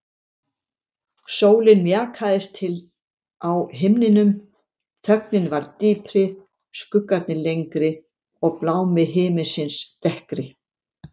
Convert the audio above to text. Sólin mjakaðist til á himninum, þögnin varð dýpri, skuggarnir lengri og blámi himinsins dekkri.